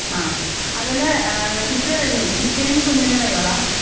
ആ അതുലെ ഏഹ് ചിറ്റ വരുന്നു ചിറ്റയും കുഞ്ഞുണ്ണിയും വരുവോ ടാ?